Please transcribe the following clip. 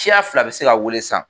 Siya fila be se ka wele sisan